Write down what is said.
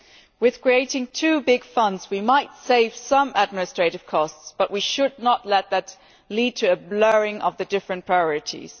By creating two big funds we might save some administrative costs, but we should not let that lead to a blurring of the different priorities.